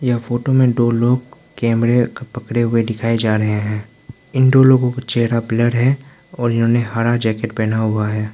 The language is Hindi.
यह फोटो में दो लोग कैमरे पकड़े हुए दिखाएं जा रहे है इन दो लोगों का चेहरा ब्लर है और इन्होंने हरा जैकेट पहना हुआ है।